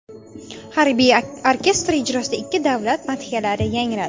Harbiy orkestr ijrosida ikki davlat madhiyalari yangradi.